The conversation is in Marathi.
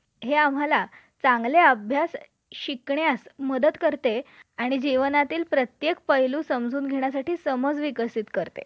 मिळावे म्हणून विमा comany ला ही कळवावे लागते ठीक आहे. सार्वजनिक ठिकाणी वाहन चालवताना कोणती कागदपत्रे वाहनात ठेवायला हवी विम्याचे प्रमाणपत्रa